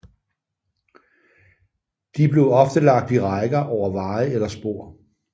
De blev ofte lagt i rækker over veje eller spor